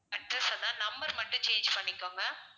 address number மட்டும் change பண்ணிக்கோங்க